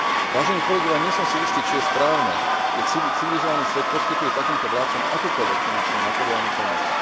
Vážení kolegovia, nie som si istý, či je správne, keď civilizovaný svet poskytuje takýmto vládcom akúkoľvek finančnú a materiálnu pomoc.